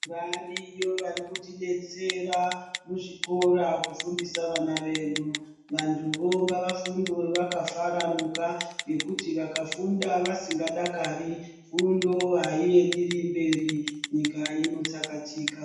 Variyo vari kutidetsera muzvikora kufundisa vana vedu vantuvo ngavafunde vakafaranuka ngokuiti vakafunda vasingadakari fundo ayiendereri mberi nyika inotsakatika.